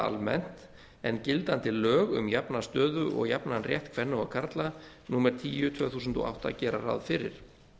almennt en gildandi lög um jafna stöðu og jafnan rétt kvenna og karla númer tíu tvö þúsund og átta gera ráð fyrir